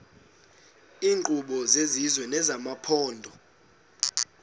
iinkqubo zesizwe nezamaphondo